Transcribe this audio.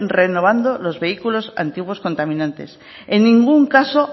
renovando los vehículos antiguos contaminante en ningún caso